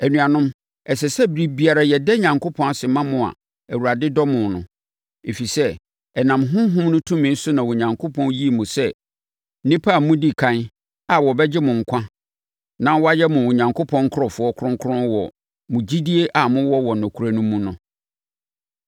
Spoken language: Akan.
Anuanom, ɛsɛ sɛ ɛberɛ biara yɛda Onyankopɔn ase ma mo a Awurade dɔ mo no. Ɛfiri sɛ, ɛnam Honhom no tumi so na Onyankopɔn yii mo sɛ nnipa a modi ɛkan a wɔbɛgye mo nkwa na wɔayɛ mo Onyankopɔn nkurɔfoɔ kronkron wɔ mo gyidie a mowɔ wɔ nokorɛ mu no mu.